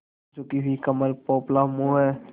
झुकी हुई कमर पोपला मुँह